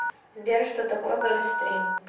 сбер что такое гольфстрим